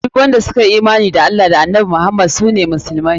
Duk wanda suka yi imani da Allah da annabi Muhammad sunan su musulmai.